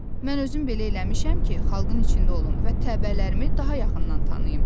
Mən özüm belə eləmişəm ki, xalqın içində olum və təbəələrimi daha yaxından tanıyım.